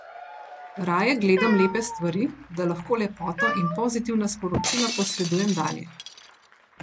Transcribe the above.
Raje gledam lepe stvari, da lahko lepoto in pozitivna sporočila posredujem dalje.